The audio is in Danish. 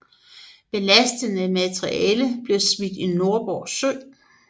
Belastende materiale blev smidt i Nordborg Sø